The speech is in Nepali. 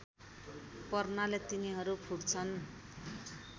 पर्नाले तिनीहरू फुट्छन्